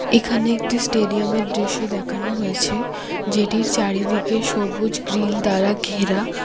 এখানে একটি স্টেডিয়ামের দৃশ্য দেখানো হয়েছে যেটির চারিদিকে সবুজ গ্রিল দ্বারা ঘেরা।